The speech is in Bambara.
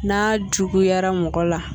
N'a juguyara mɔgɔ la